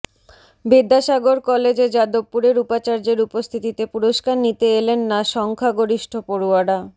বিদ্যাসাগর কলেজে যাদবপুরের উপাচার্যের উপস্থিতিতে পুরস্কার নিতে এলেন না সংখ্যা গরিষ্ঠ পড়ুয়ারা